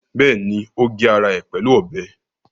Bẹ́ẹ̀ni, ó gé ara ẹ̀ pẹ̀lú ọbẹ̀